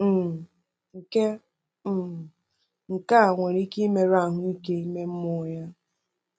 um Nke um Nke a nwere ike imerụ ahụike ime mmụọ ya.